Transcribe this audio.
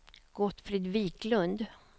Gottfrid Wiklund